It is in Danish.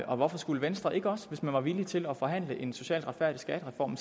og hvorfor skulle venstre ikke også hvis man var villig til at forhandle en socialt retfærdig skattereform